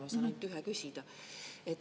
Ma saan ainult ühe küsida.